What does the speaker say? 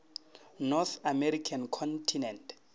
north american continent